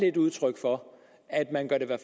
er udtryk for at man gør det